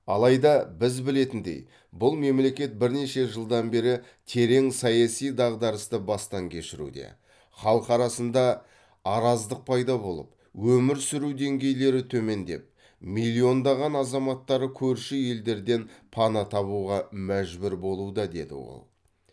алайда біз білетіндей бұл мемлекет бірнеше жылдан бері терең саяси дағдарысты бастан кешіруде халқы арасында араздық пайда болып өмір сүру деңгейлері төмендеп миллиондаған азаматтары көрші елдерден пана табуға мәжбүр болуда деді ол